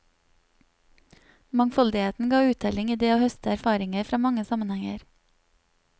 Mangfoldigheten ga uttelling i det å høste erfaringer fra mange sammenhenger.